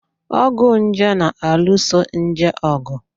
Ọgwụ nje na-alụso nje ọgụ.